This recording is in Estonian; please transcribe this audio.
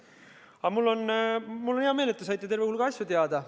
Aga mul on hea meel, et te saite terve hulga asju teada.